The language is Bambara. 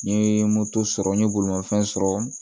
N ye moto sɔrɔ n ye bolimafɛn sɔrɔ